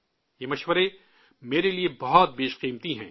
یہ مشورے، میرے لیے بہت قیمتی ہیں